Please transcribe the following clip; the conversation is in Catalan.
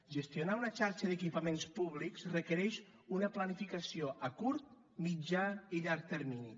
gestionar una xarxa d’equipaments públics requereix una planificació a curt mitjà i llarg termini